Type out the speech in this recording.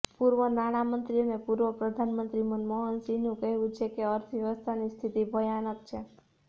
પૂર્વ નાણામંત્રી અને પૂર્વ પ્રધાનમંત્રી મનમોહનસિંહનું કહેવું છે કે અર્થવ્યવસ્થાની સ્થિતિ ભયાનક છે